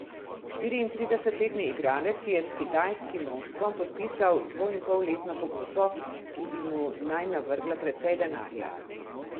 Štiriintridesetletni igralec je s kitajskim moštvom podpisal dvoinpolletno pogodbo, ki bi mu naj navrgla precej denarja.